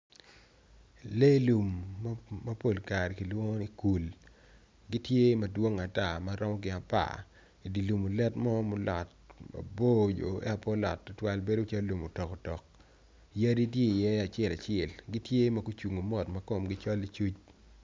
Lee lum mapol kare kilwongo ni kul, gitye madwong atar maromo gin apar idilum olet mo ma olot mabor eto pe olot tutwal bedo calo lum otokotok, yadi tye i ye acel acel tye ma gucung o mot makomgi col i cuc.